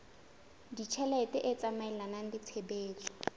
ditjhelete e tsamaelana le tshebetso